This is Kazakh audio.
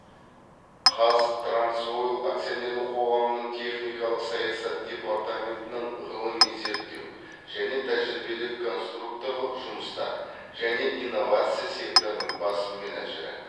қаз транс ойл акционерлік қоғамының техникалық саясат департаментінің ғылыми зерттеу және тәжірибелік конструкторлық жұмыстар және инновация секторының бас менеджері